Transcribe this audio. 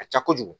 Ka ca kojugu